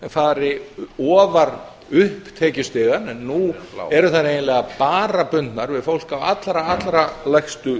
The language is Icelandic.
fari ofar upp tekjustigann en nú eru þær eiginlega bara bundnar við fólk á allra lægstu